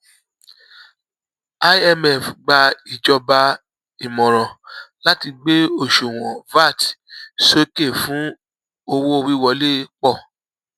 imf gba ìjọba ìmọràn láti gbé òṣuwọn vat sókè fún owówíwolé pọ